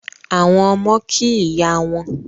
Àwọn ọmọ kí ìyá wọn